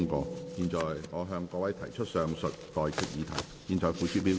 我現在向各位提出上述待決議題，付諸表決。